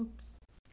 Ups.